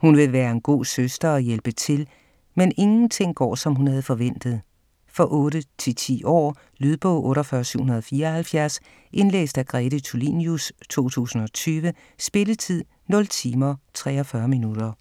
Hun vil gerne være en god søster og hjælpe til, men ingenting går som hun havde forventet. For 8-10 år. Lydbog 48774 Indlæst af Grete Tulinius, 2020. Spilletid: 0 timer, 43 minutter.